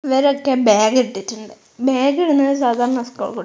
ഇവരൊക്കെ ബാഗ് ഇട്ടിട്ടുണ്ട് ബാഗ് ഇടുന്നത് സാധാരണ സ്കൂൾ കു--